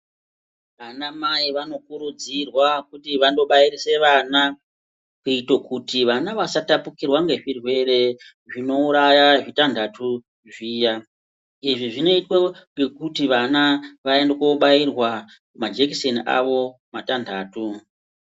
Anamai vanokurudzirwa kuti vandobairise vana kuite kuti vana vasatapukirwa ngezvirwere zvinouraya zvitandatu zviya. Izvi zvinoitwe ngekuti vana vaende kobairwa majekiseni avo matandatu.